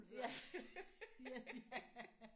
Ja ja